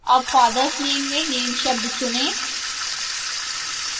अब father s name में name शब्द चुनें